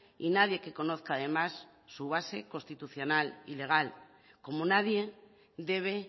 y nadie que conozca además su base constitucional y legal como nadie debe